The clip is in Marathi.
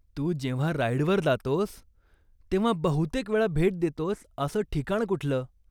तू जेव्हा राईडवर जातोस तेव्हा बहुतेकवेळा भेट देतोस असं ठिकाण कुठलं?